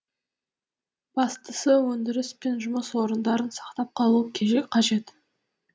бастысы өндіріс пен жұмыс орындарын сақтап қалу қажет